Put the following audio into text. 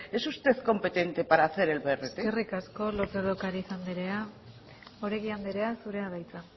es usted competente para hacer el brt eskerrik asko lópez de ocariz anderea oregi anderea zurea da hitza